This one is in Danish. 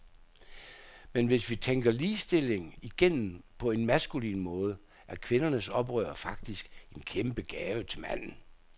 Men hvis vi tænker ligestilling igennem på en maskulin måde, er kvindernes oprør faktisk en kæmpe gave til manden.